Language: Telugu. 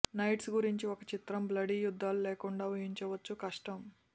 నైట్స్ గురించి ఒక చిత్రం బ్లడీ యుద్ధాలు లేకుండా ఊహించవచ్చు కష్టం